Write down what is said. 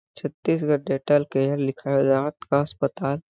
Chhattisgarh dental care लिखाया जात का अस्पताल--